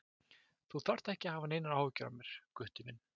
Þú þarft ekki að hafa neinar áhyggjur af mér, Gutti minn.